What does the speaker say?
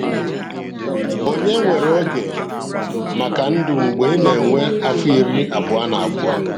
Ònye nwere oge maka ndụ mgbe ị na-enwe afọ iri abụọ na abụọ?